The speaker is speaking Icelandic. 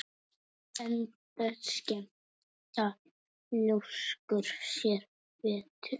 Enda skemmta ljóskur sér betur.